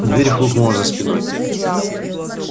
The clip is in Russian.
дверь хлопнула за спиной